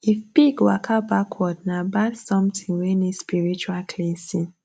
if pig waka backward nah bad something wey need spiritual cleansing